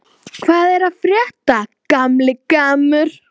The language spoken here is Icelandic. Hvað er að frétta, gamli gammur?